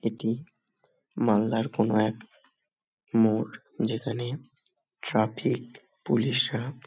এটি মালদার কোনো এক মোর যেখানে ট্রাফিক পুলিশ -রা--